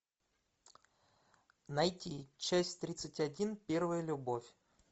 найти часть тридцать один первая любовь